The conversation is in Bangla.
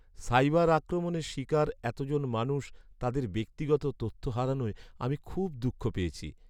সাইবার আক্রমণের শিকার এতজন মানুষ তাঁদের ব্যক্তিগত তথ্য হারানোয় আমি খুব দুঃখ পেয়েছি।